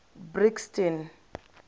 brixton